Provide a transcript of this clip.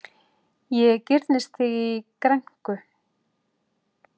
Ég girnist þig í grænku.